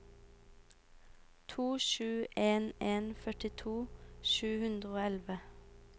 to sju en en førtito sju hundre og elleve